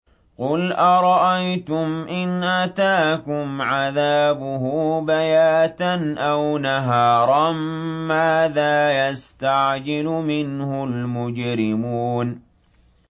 قُلْ أَرَأَيْتُمْ إِنْ أَتَاكُمْ عَذَابُهُ بَيَاتًا أَوْ نَهَارًا مَّاذَا يَسْتَعْجِلُ مِنْهُ الْمُجْرِمُونَ